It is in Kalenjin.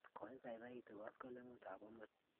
Koipoipoitu koskoling'ut ap amut